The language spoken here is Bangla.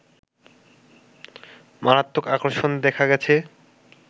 মারাত্মক আকর্ষণ দেখা গেছে